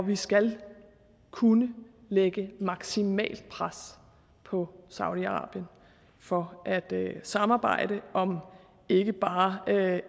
vi skal kunne lægge maksimalt pres på saudi arabien for at samarbejde om ikke bare